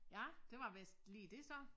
Ja det var vist lige det så